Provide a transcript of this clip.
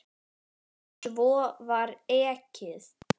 Svo var ekið.